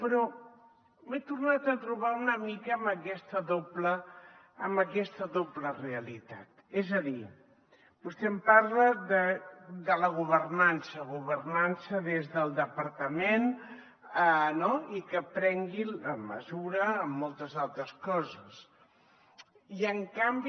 però m’he tornat a trobar una mica amb aquesta doble realitat és a dir vostè em parla de la governança governança des del departament i que prengui la mesura en moltes altres coses i en canvi